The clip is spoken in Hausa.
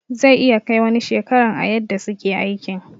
Zai iya Kai wani shekaran a yadda suke aikin.